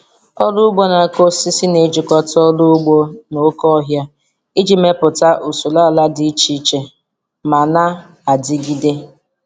Ọrụ ugbo na-akụ osisi na-ejikọta ọrụ ugbo na oke ọhịa iji mepụta usoro ala dị iche iche ma na-adigide.